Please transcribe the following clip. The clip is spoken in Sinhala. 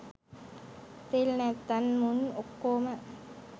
තෙල් නැත්තන් මුන් ඔක්කොම